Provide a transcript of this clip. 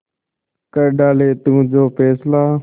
कर डाले तू जो फैसला